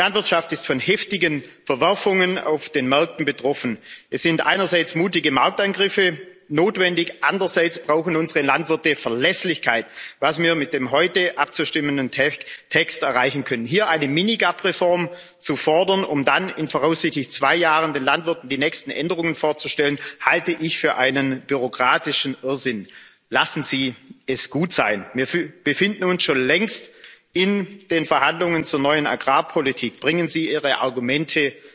Die Landwirtschaft ist von heftigen Verwerfungen auf den Märkten betroffen. Es sind einerseits mutige Markteingriffe notwendig, andererseits brauchen unsere Landwirte Verlässlichkeit was wir mit dem heute abzustimmenden Text erreichen können. Hier eine Mini GAP Reform zu fordern, um dann in voraussichtlich zwei Jahren den Landwirten die nächsten Änderungen vorzustellen, halte ich für einen bürokratischen Irrsinn. Lassen Sie es gut sein! Wir befinden uns schon längst in den Verhandlungen zur neuen Agrarpolitik. Bringen Sie Ihre